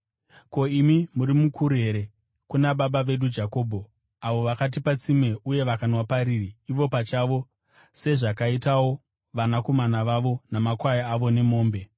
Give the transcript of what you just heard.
Ko, imi muri mukuru here, kuna baba vedu Jakobho, avo vakatipa tsime uye vakanwa pariri ivo pachavo, sezvakaitawo vanakomana vavo namakwai avo nemombe?”